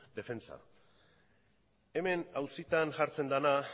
defentsan hemen auzitan jartzen dena